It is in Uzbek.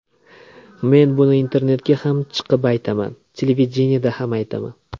Men buni internetga ham chiqib aytaman, televideniyeda ham aytaman.